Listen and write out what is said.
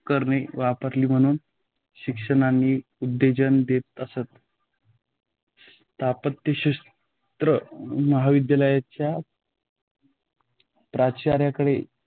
उपकरणे वापरावी म्हणून शिक्षकांनाही उत्तेजन देत असत. स्थापत्यशास्त्र महाविद्यालयाच्या प्राचार्यांकडे